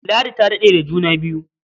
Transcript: Ladi ta daɗe da juna biyu.